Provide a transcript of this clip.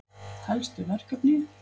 Helstu verkefni:-